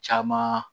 Caman